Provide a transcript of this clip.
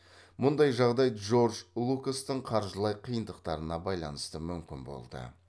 мұндай жағдай джордж лукастың қаржылай қиындықтарына байланысты мүмкін болды